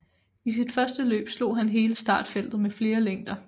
I sit første løb slog han hele startfeltet med flere længder